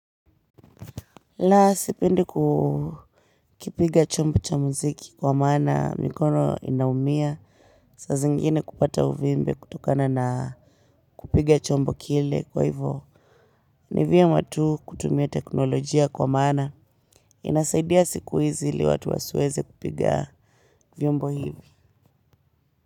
Na sipindi kukipiga chombo cha muziki kwa maana mikono inaumia. Saa zingine kupata uvimbe kutokana na kupiga chombo kile kwa hivyo. Ni vyema tu kutumia teknolojia kwa maana. Inasaidia siku hizi ili watu wasiweze kupiga vyombo hivyo.